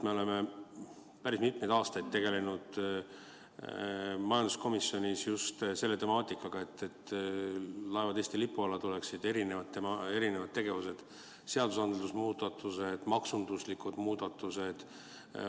Me oleme päris mitmeid aastaid tegelenud majanduskomisjonis just selle temaatikaga, et laevad Eesti lipu alla tuleksid – erinevad tegevused, muudatused seadustes, maksunduslikud muudatused.